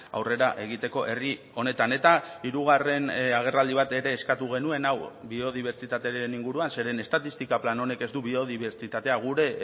aurrera egiteko herri honetan eta hirugarren agerraldi bat ere eskatu genuen hau biodibertsitatearen inguruan zeren estatistika plan honek ez du biodibertsitatea gure